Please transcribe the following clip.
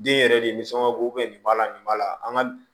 Den yɛrɛ de ni sɔngɔ bo nin b'a la nin b'a la an ka